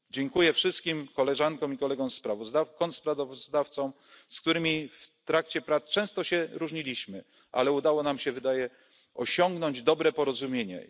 Dziękuję wszystkim koleżankom i kolegom kontrsprawozdawcom, z którymi w trakcie prac często się różniliśmy, ale udało nam się, wydaje się, osiągnąć dobre porozumienie.